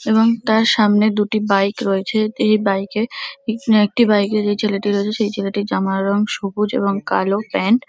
এবং তার সামনে দুটি বাইক রয়েছে তো এই বাইক -এ পিছনে একটি বাইক -এ যেই ছেলেটি রয়েছে সেই ছেলেটির জমার রঙ সবুজ এবং কালো প্যান্ট ।